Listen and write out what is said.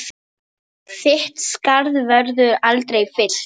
Þitt skarð verður aldrei fyllt.